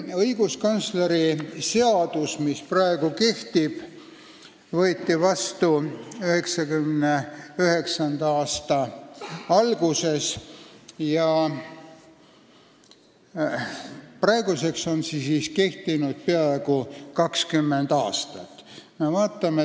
Õiguskantsleri seadus, mis praegu kehtib, võeti vastu 1999. aasta alguses ja praeguseks on see kehtinud peaaegu 20 aastat.